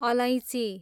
अलैँची